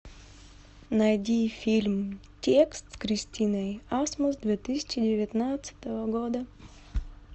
найди фильм текст с кристиной асмус две тысячи девятнадцатого года